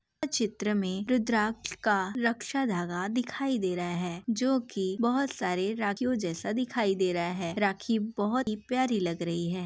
चित्र में रुद्राक्ष का रक्षा धागा दिखाई दे रह है जो कि बोहोत सारे राखियो जैसा दिखाई दे रहा है। राखी बोहोत ही प्यारी लग रही है।